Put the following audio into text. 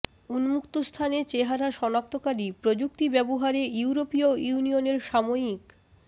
উন্মুক্ত স্থানে চেহারা শনাক্তকারী প্রযুক্তি ব্যবহারে ইউরোপীয় ইউনিয়নের সাময়িক